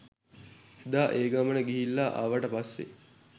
එදා ඒ ගමන ගිහිල්ලා ආවට පස්සේ